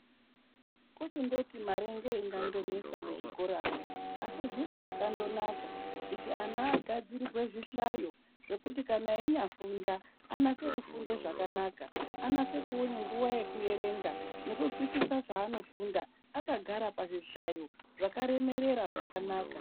Kuchindoti mare ngeinganesa muzvikoramwo asi zviro zvakandonaka kuti ana agadzirirwe zvihlayo zvekuti kana einyafunda, anase kufunda zvakanaka, anase kuona nguwa yekuerenga nekuzwisisa zvaanofunda akagara pazvihlayo zvakaremerera zvakanaka.